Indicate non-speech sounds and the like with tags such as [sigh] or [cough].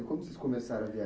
[unintelligible] vocês [unintelligible]